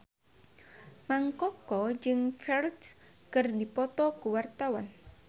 Mang Koko jeung Ferdge keur dipoto ku wartawan